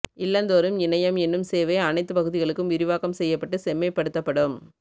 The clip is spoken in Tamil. இல்லந்தோறும் இணையம் என்னும் சேவை அனைத்துப் பகுதிகளுக்கும் விரிவாக்கம் செய்யப்பட்டு செம்மைப்படுத்தப்படும்